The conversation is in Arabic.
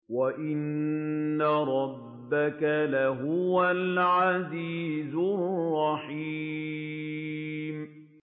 وَإِنَّ رَبَّكَ لَهُوَ الْعَزِيزُ الرَّحِيمُ